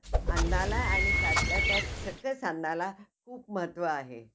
अन्नाला आणि त्यातल्या त्यात सकस अन्नाला खूप महत्व आहे.